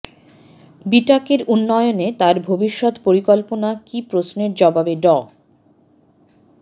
বিটাকের উন্নয়নে তার ভবিষ্যৎ পরিকল্পনা কী প্রশ্নের জবাবে ড